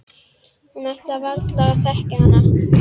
Hún ætlaði varla að þekkja hana.